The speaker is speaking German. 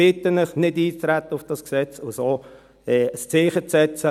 Ich bitte Sie, nicht auf dieses Gesetz einzutreten und so ein Zeichen zu setzen.